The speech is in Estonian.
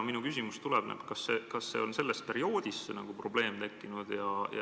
Minu küsimus on, kas see probleem tekkis sellel perioodil.